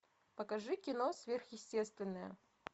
покажи кино сверхъестественное